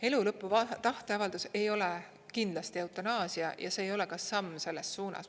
Elulõpu tahteavaldus ei ole kindlasti eutanaasia ja see ei ole ka samm selles suunas.